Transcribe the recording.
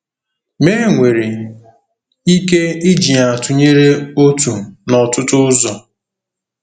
Ma e nwere ike iji ya tụnyere otu n'ọtụtụ ụzọ.